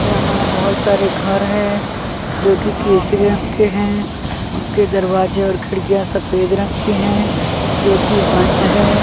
यहाँ बहुत सारे घर है जो कि केसरी रंग के हैं उनके दरवाजे और खिड़कियाँ सफेद रंग की हैं जो कि बंद है।